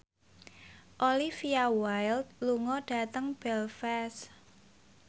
Olivia Wilde lunga dhateng Belfast